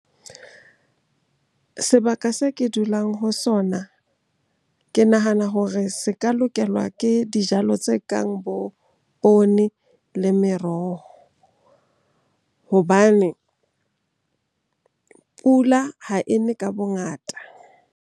Sebaka se ke dulang ho sona ke nahana hore se ka lokelwa ke dijalo tse kang bo poone le meroho hobane pula ha e ne ka bongata.